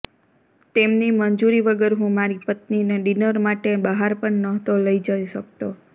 તેમની મંજૂરી વગર હું મારી પત્નીને ડિનર માટે બહાર પણ નહોતો લઈ જઈ શકતો